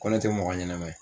Ko ne te mɔgɔ ɲɛnɛman ye